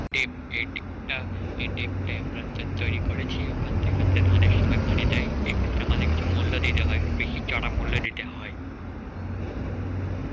dep dep টা এই dep টাই আমরা তৈরি করেছি ওখান থেকে আমাদের ধানের সময় পানি দেয়, এক্ষেত্রে আমাদের কিছু মূল্য দিতে হয়, বেশি চারা মূল্যে দিতে হয়.